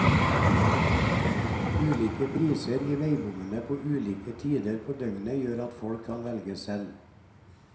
Ulike priser i veibommene på ulike tider på døgnet gjør at folk kan velge selv.